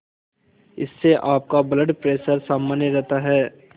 इससे आपका blood pressure सामान्य रहता है